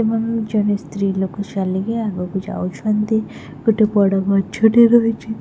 ଏପଟୁ ଜଣେ ସ୍ତ୍ରୀଲୋକ ଚାଲିକି ଆଗକୁ ଯାଉଛନ୍ତି ଗୋଟେ ବଡ ଗଛଟେ ରହିଛି।